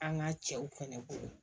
An ka cɛw fɛnɛ bolo